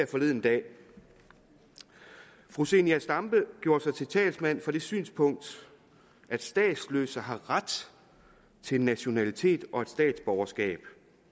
forleden dag fru zenia stampe gjorde sig til talsmand for det synspunkt at statsløse har ret til nationalitet og statsborgerskab